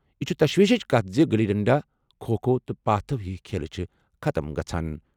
"یہِ چھِ تشویشٕچ کتھ زِ گلی ڈنڈا، کھوکھو تہٕ پاتھو ہِوۍ کھیل چھِ ختٕم گژھان۔